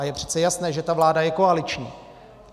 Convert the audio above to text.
A je přece jasné, že ta vláda je koaliční.